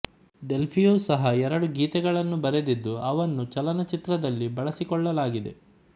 ಡೆಲ್ಪಿಯೂ ಸಹ ಎರಡು ಗೀತೆಗಳನ್ನು ಬರೆದಿದ್ದು ಅವನ್ನು ಚಲನಚಿತ್ರದಲ್ಲಿ ಬಳಸಿಕೊಳ್ಳಲಾಗಿದೆ